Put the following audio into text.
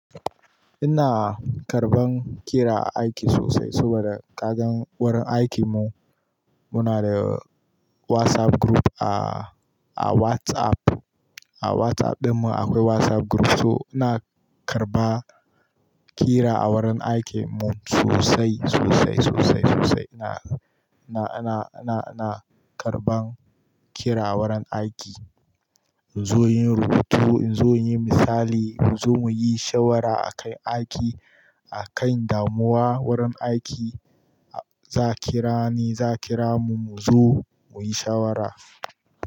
Ina karɓan ƙira a aiki sosai saboda kagan wurin aikinmu. Muna da WhatsApp group a, a WhatsApp, a WhatsApp ɗinmu akwai WhatsApp group, so ina karɓa ƙira a wurin aikinmu sosai, sosai, sosai, sosai. Ina, ina, ina, ina, ina karɓan ƙira a wurin aiki. Zo yin rubutu, in zo yin misali, mu zo mu yi shawara a kai aiki, a kai damuwa wurin aiki, za ƙira ni, za ƙira mu, mu zo mu yi shawara.